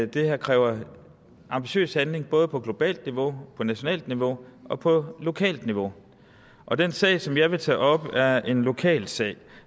det her kræver ambitiøs handling både på globalt niveau på nationalt niveau og på lokalt niveau og den sag som jeg vil tage op er en lokal sag